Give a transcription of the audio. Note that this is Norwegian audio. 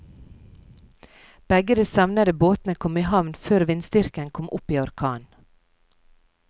Begge de savnede båtene kom i havn før vindstyrken kom opp i orkan.